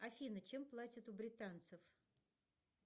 афина чем платят у британцев